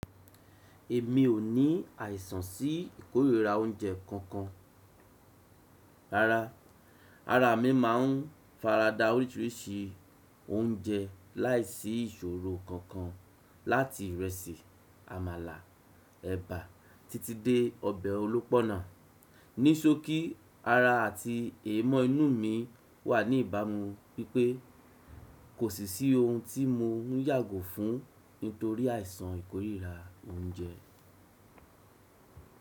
Èmi ò ní àìsàn sí ìkórìíra oúnjẹ kankan. Rárá, ara mi máà ń farada oríṣiríṣi oúnjẹ láìsí ìṣòro kankan láti ìrẹsì, àmàlà, ẹ̀bà títí dé ọbẹ̀ olópọ́nà. Ní ṣókí ara àti èémọ̀ inú mi wà ní ìbámu wípé kò sì sí ohun tí mo ń yàgò fún nítorí àìsàn ìkórìíra oúnjẹ.